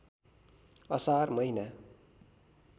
असार महिना